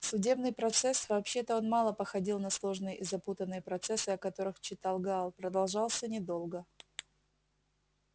судебный процесс вообще-то он мало походил на сложные и запутанные процессы о которых читал гаал продолжался недолго